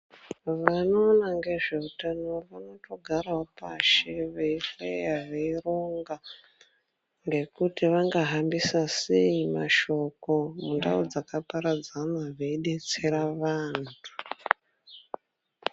Vanoona ngezveutano vanotogarawo pashi veihlaya veironga ngekuti vangahambisa sei shoko mundau dzakaparadzana veidetsera vanhu.